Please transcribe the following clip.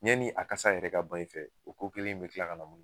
Ɲɛni a kasa yɛrɛ ka ban i f, o ko kelen in be kila ka na mun